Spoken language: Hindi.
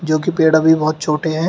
जोकि पेड़ अभी बहोत छोटे हैं।